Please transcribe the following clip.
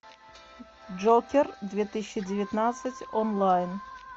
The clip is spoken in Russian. джокер две тысячи девятнадцать онлайн